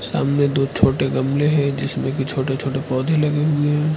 सामने दो छोटे गमले हैं जिसमें कि छोटे छोटे पौधे लगे हुए हैं।